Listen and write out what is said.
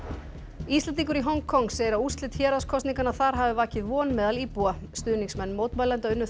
Íslendingur í Hong Kong segir að úrslit þar hafi vakið von meðal íbúa stuðningsmenn mótmælenda unnu þar